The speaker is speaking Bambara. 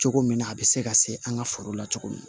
Cogo min na a bɛ se ka se an ka foro la cogo min na